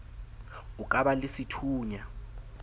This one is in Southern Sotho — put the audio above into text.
o ka ba le sethunya